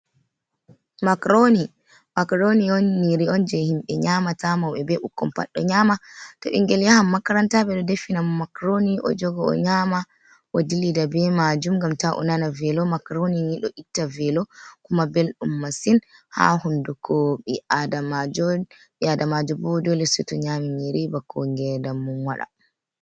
makrooni, makrooni on nyiiri on jey himɓe nyaama ta, mawɓe be ɓukkon pat ɗo nyaama, to ɓinngel yahan makaranta ɓe ɗo defanamo makrooni o joga o nyaama, o dillida be maajum, ngam taa o nana veelo. Makrooni ni ɗo itta veelo, kuma belɗum masin haa hunnduko, ɓi adamaajo, ɓi adamaajo bo doole seeto nyaami nyiiri bako ngeendam mum waɗa.